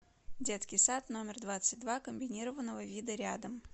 детский сад номер двадцать два комбинированного вида рядом